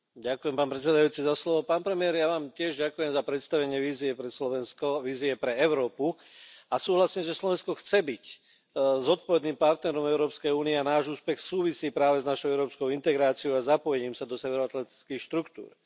Vážený pán predseda, pán premiér, ja Vám tiež ďakujem za predstavenie vízie pre Slovensko, vízie pre Európu a súhlasím, že Slovensko chce byť zodpovedným partnerom v Európskej únii a náš úspech súvisí práve s našou európskou integráciou a zapojením sa do severoatlantických štruktúr.